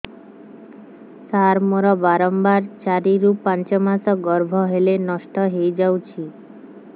ସାର ମୋର ବାରମ୍ବାର ଚାରି ରୁ ପାଞ୍ଚ ମାସ ଗର୍ଭ ହେଲେ ନଷ୍ଟ ହଇଯାଉଛି